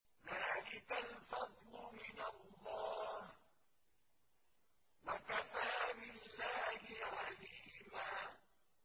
ذَٰلِكَ الْفَضْلُ مِنَ اللَّهِ ۚ وَكَفَىٰ بِاللَّهِ عَلِيمًا